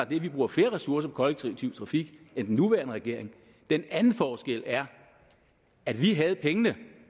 vi bruger flere ressourcer på kollektiv trafik end den nuværende regering den anden forskel er at vi havde pengene